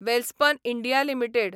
Welspun India limited